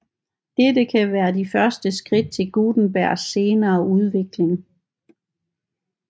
Dette kan være de første skridt til Gutenbergs senere udvikling